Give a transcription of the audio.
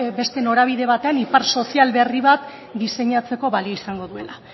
beste norabide batean ipar sozial berri bat diseinatzeko balio izango duela